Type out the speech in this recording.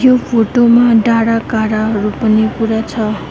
यो फोटो मा दारा कारा हरु पनि पूरा छ।